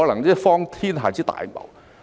真是荒天下之大謬。